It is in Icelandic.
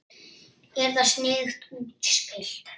Er þetta sniðugt útspil?